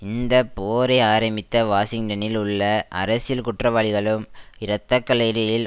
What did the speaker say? இந்த போரை ஆரம்பித்த வாஷிங்டனில் உள்ள அரசியல் குற்றவாளிகளும் இரத்த களரியில்